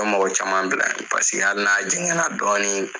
Mɔgɔ caman bila paseke ali n'a jɛngɛnna dɔɔnin